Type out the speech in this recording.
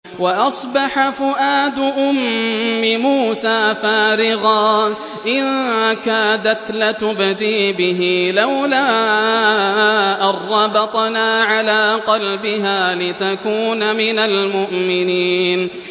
وَأَصْبَحَ فُؤَادُ أُمِّ مُوسَىٰ فَارِغًا ۖ إِن كَادَتْ لَتُبْدِي بِهِ لَوْلَا أَن رَّبَطْنَا عَلَىٰ قَلْبِهَا لِتَكُونَ مِنَ الْمُؤْمِنِينَ